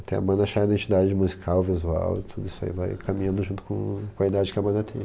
Até a banda achar a identidade musical, visual, tudo isso aí vai caminhando junto com a idade que a banda tem.